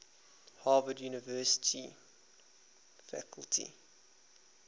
harvard university faculty